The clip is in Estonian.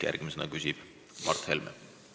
Järgmisena küsib Mart Helme.